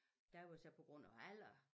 Der var det så på grund af alder